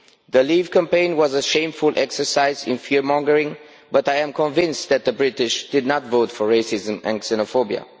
The Leave campaign was a shameful exercise in fear mongering, but I am convinced that the British did not vote for racism and xenophobia.